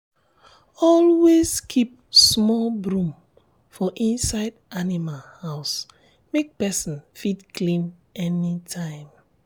always keep small broom for inside animal house make person fit clean anytime.